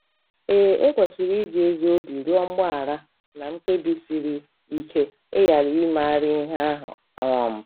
Ee, e kwesịrị iji ezi obi rịọ mgbaghara na mkpebi siri ike ịghara imegharị ihe ahụ um.